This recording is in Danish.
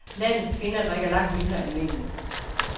Landets kvinder drikker langt mindre end mændene.